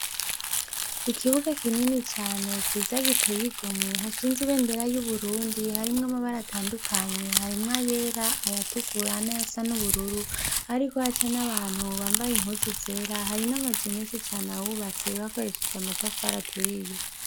Ikibuga kinini cane ciza giteye igomwe hashinze ibendera yu Burundi harimwo amabara atandukanye harimwo ayera ayatukura nayasa n'ubururu hariko haca n'abantu bambaye impuzu zera hari n'amazu meshi cane ahubatse bakoresheje amatafari aturiye.